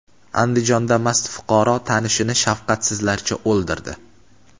Andijonda mast fuqaro tanishini shafqatsizlarcha o‘ldirdi.